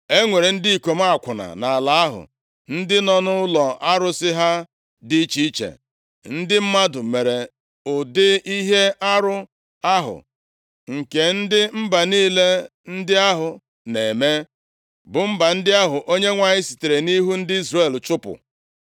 E nwere ndị ikom akwụna nʼala ahụ, ndị nọ nʼụlọ arụsị ha dị iche iche. Ndị mmadụ mere ụdị ihe arụ ahụ nke ndị mba niile ndị ahụ na-eme, bụ mba ndị ahụ Onyenwe anyị sitere nʼihu ndị Izrel chụpụ.